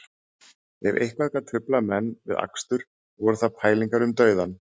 Ef eitthvað gat truflað menn við akstur voru það pælingar um dauðann